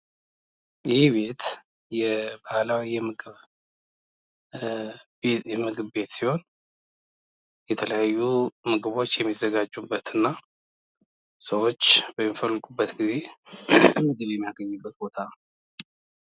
ይህ ቤት ባህላዊ የምግብ ቤት ሲሆን የተለያዩ ምግቦች የሚዘጋጁበት እና ሰዎች በሚፈልጉበት ግዜ ምግብ የሚያገኙበት ቦታ ነው።